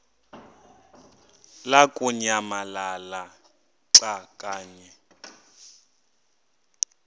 lamukunyamalala xa kanye